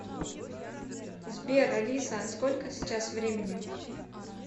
сбер алиса а сколько сейчас времени